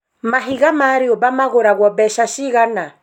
mahiga ma rĩũmba magũragwo mbeca cigana?